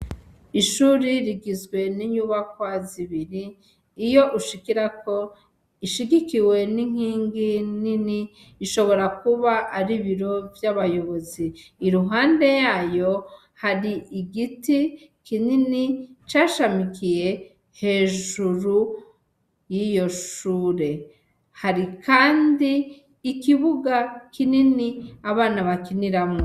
Ishuri rigizwe n'inyubakwa zibiri iyo ushikirako ishigikiwe n'inkingi nini ishobora kuba ari ibiro vy'abayobozi, iruhande yayo har'igiti kinini cashamikiye hejuru yiyo shure, hari kandi ikibuga kinini abana bakiniramwo.